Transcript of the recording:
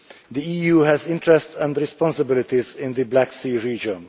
The EU has interests and responsibilities in the Black Sea region.